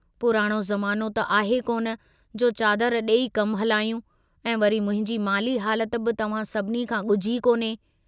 पुराणो ज़मानो त आहे कोन जो चादर डेई कम हलायूं ऐं वरी मुंहिंजी माली हालत बि तव्हां सभिनी खां गुझी कोन्हे।